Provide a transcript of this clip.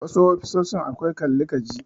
Wasu ofishin akwai Kalli ka ji.